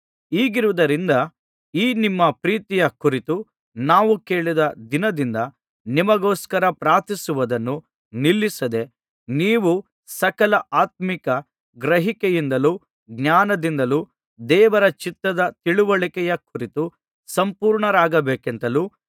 ಹೀಗಿರುವುದ್ದರಿಂದ ಈ ನಿಮ್ಮ ಪ್ರೀತಿಯ ಕುರಿತು ನಾವು ಕೇಳಿದ ದಿನದಿಂದ ನಿಮಗೋಸ್ಕರ ಪ್ರಾರ್ಥಿಸುವುದನ್ನು ನಿಲ್ಲಿಸದೆ ನೀವು ಸಕಲ ಆತ್ಮೀಕ ಗ್ರಹಿಕೆಯಿಂದಲೂ ಜ್ಞಾನದಿಂದಲೂ ದೇವರ ಚಿತ್ತದ ತಿಳಿವಳಿಕೆಯ ಕುರಿತು ಸಂಪೂರ್ಣರಾಗಬೇಕೆಂತಲೂ